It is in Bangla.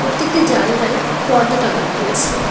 প্রত্যেকটি জানলায় পর্দা টাঙানো রয়েছে।